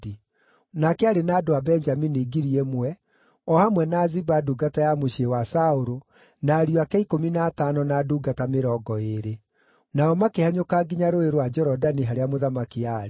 Nake aarĩ na andũ a Benjamini ngiri ĩmwe, o hamwe na Ziba ndungata ya mũciĩ wa Saũlũ, na ariũ ake ikũmi na atano, na ndungata mĩrongo ĩĩrĩ. Nao makĩhanyũka nginya Rũũĩ rwa Jorodani harĩa mũthamaki aarĩ.